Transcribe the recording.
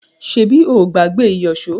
Ṣebí o ò gbàgbé ìyọ̀ṣo?